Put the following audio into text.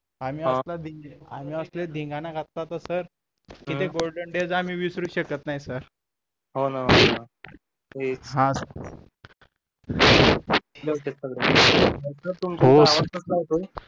आम्ही असला धिंगाणा घातला होता सर की ते golden days आम्ही विसरूच शकत नाही सर